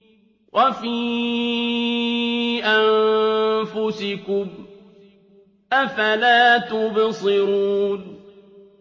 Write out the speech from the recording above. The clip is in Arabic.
وَفِي أَنفُسِكُمْ ۚ أَفَلَا تُبْصِرُونَ